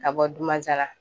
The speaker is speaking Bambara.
Ka bɔ Dumansana